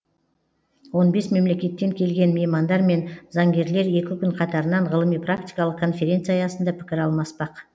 он бес мемлекеттен келген меймандар мен заңгерлер екі күн қатарынан ғылыми практикалық конференция аясында пікір алмаспақ